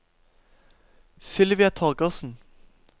Sylvia Torgersen